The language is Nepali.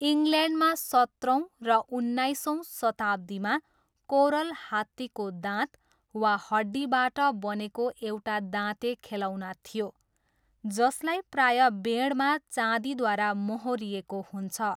इङ्ल्यान्डमा सत्रौँ र उन्नाइसौँ शताब्दीमा, कोरल हात्तीको दाँत वा हड्डीबाट बनेको एउटा दाँते खेलौना थियो, जसलाई प्रायः बेँडमा चाँदीद्वारा मोहोरिएको हुन्छ।